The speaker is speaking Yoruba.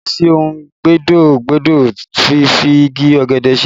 Kò sí ohun tí gbẹ́dọ́-gbẹ́dọ́ fẹ́ fi igi ọ̀gẹ̀dẹ̀ gbẹ́